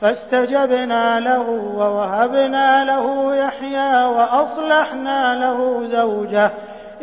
فَاسْتَجَبْنَا لَهُ وَوَهَبْنَا لَهُ يَحْيَىٰ وَأَصْلَحْنَا لَهُ زَوْجَهُ ۚ